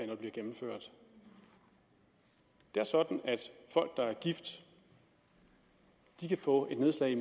det bliver gennemført det er sådan at folk der er gift kan få et nedslag i